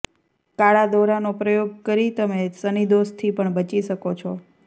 કાળા દોરાનો પ્રયોગ કરી તમે શનિદોષથી પણ બચી શકો છો